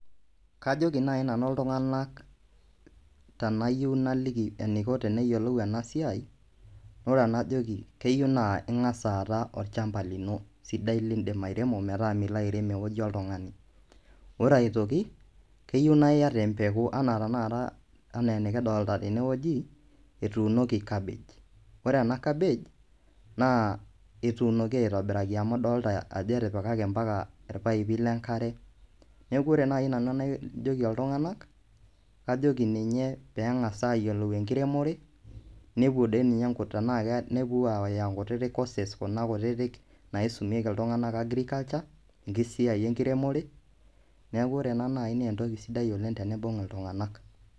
Kajoki naai nanu iltung'anak tenayieu naliki eniko teneyiu neyioloub ena siai ore enajoki keyieu naa ing'as aata olchamba lino sidai liindim airemo pee milo airem ewueji oltung'ani ore aitoki keyieu naa iata empeku enaa tenakata enikidolita tenewueji etuunoki cabbage ore cabbage naa etuunoki aitobiraki amu idolita ajo rtipikaki mpaka irpaipi le nkare, neeku ore nai nanu enajoki iltung'anak kajoki ninye pee eng'as aayiolou enkiremore nepuo aayau nkutiti courses kuna kutitik naisumieki iltung'anak agriculture enkiremore neeku ore ena naai naa entoki sidai oleng' teniibung' iltung'anak.